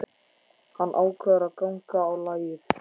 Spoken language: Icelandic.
Hann ákveður að ganga á lagið.